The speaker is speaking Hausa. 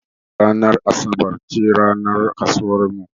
Ranar asabar ce ranar kasuwar mu.